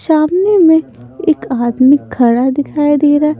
शामने में एक आदमी खड़ा दिखाई दे रहा।